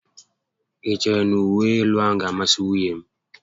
I chere na uwe élú a gá a masị nwunye m?